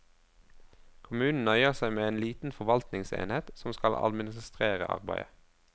Kommunen nøyer seg med en liten forvaltningsenhet som skal administrere arbeidet.